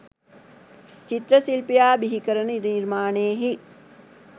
චිත්‍රශිල්පියා බිහිකරන නිර්මාණයෙහි